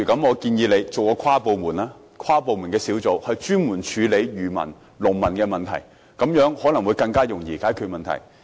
我建議成立一個跨部門小組專責處理漁民及農民的問題，這樣可能較容易解決問題。